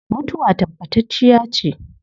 Mutuwa tabbatacciya ce